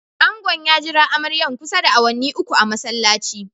Angon ya jira amaryan kusa da awanni uku a'masallaci.